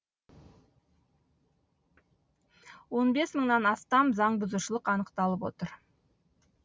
он бес мыңнан астам заңбұзушылық анықталып отыр